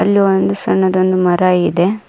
ಇಲ್ಲಿ ಒಂದು ಸಣ್ಣದೊಂದು ಮರ ಇದೆ.